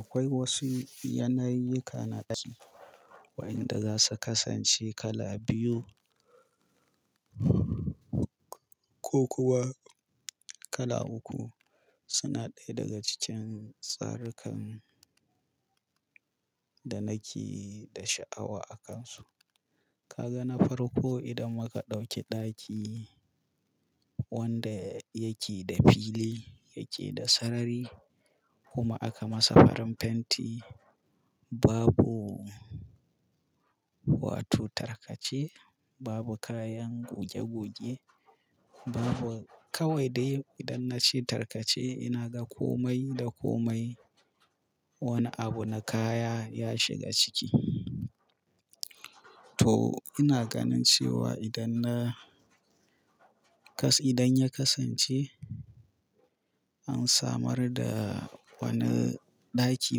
Akwai wasu yanayi kanaci wa'inda za su kasance kala biyu ko kuwa kala uku suna ɗaya daga cikin tsarikan da nake da sha'awa akansu. Ka ga na farko idan muka ɗauki ɗaki wanda yake da fili, yake da sarari kuma aka masa farin fenti babu wato tarkace, babu kayan goge-goge, babu-- kawai dai idan na ce tarkace ina ga komai da komai wani abu na kaya ya shiga ciki. To ina ganin cewa idan na kas-- idan ya kasance an samar da wani ɗaki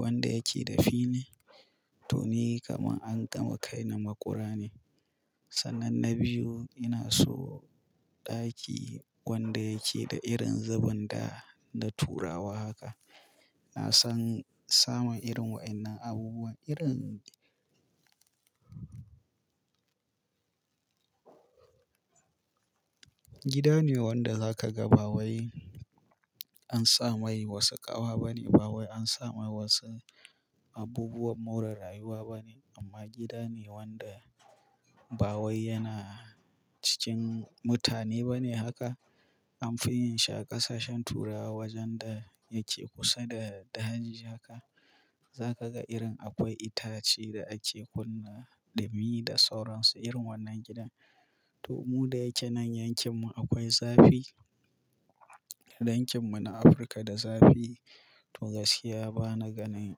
wanda yake da fili to ni kaman an gama kai ni maƙura ne. Sannan na biyu ina so ɗaki wanda yake da irin zubin da na turawa haka. Na san samun irin waɗannan abubuwan irin gida ne wanda za ka ga ba wai an sa mai wasu ƙawa bane, ba wai an sa mai wasu abubuwan more rayuwa bane amma gida ne wanda ba wai yana cikin mutane bane haka. An fi yin shi a ƙasashen Turawa wajen da yake kusa da daji haka. Za ka ga irin akwai itace da ake kunna da mi da sauransu irin wannan gidan. To mu da yake nan yankin mu akwai zafi. Yankin mu na Afirka da zafi to gaskiya bana ganin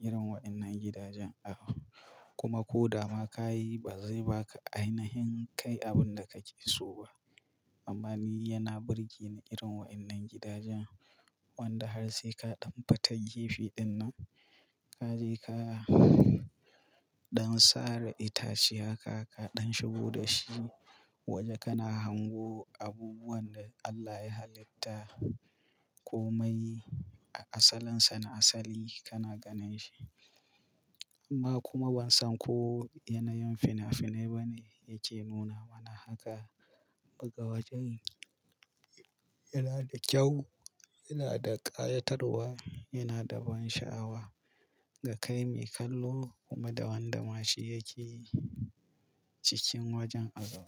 irin waɗannan gidajen a kuma ko dama ka yi ba zai baka ainihin kai abin da kake so ba. Amma ni yana birge ni irin waɗannan gidajen wanda har sai ka ɗan fita gefe dinnan ka je ka, don sare itace haka ka ɗan shigo da shi waje kana hango abubuwan da Allah ya halitta komai a asalinsa na asali kana ganin shi. Amma kuma ban san ko yanayin fina-finai bane yake nuna mana haka. Buga wajen yana da kyau, yana da ƙayatarwa, yana da ban sha'awa ga kai mai kallo kuma da wanda ma shi yake cikin wajen a ga.